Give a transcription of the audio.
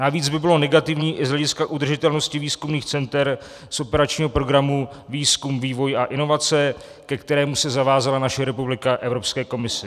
Navíc by bylo negativní i z hlediska udržitelnosti výzkumných center z operačního programu Výzkum, vývoj a inovace, ke kterému se zavázala naše republika Evropské komisi.